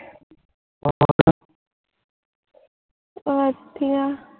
ਵਧੀਆ